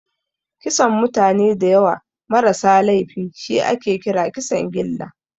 Kisan mutane dayawa ma rasa laifi shi ake kira Kisan gilla